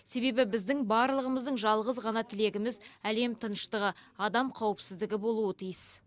себебі біздің барлығымыздың жалғыз ғана тілегіміз әлем тыныштығы адам қауіпсіздігі болуы тиіс